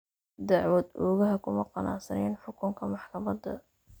Dacwad-oogaha kuma qanacsanayn xukunka maxkamadda.